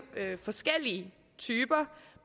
forskellige typer